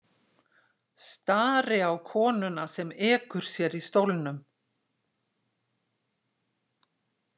Stari á konuna sem ekur sér í stólnum.